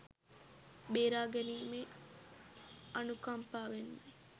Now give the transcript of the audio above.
බේරා ගැනීමේ අනුකම්පාවෙන්මයි.